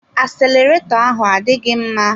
Aseleretọ ahụ adịghị mma.